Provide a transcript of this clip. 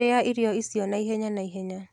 Rĩa irio icio naihenya naihenya.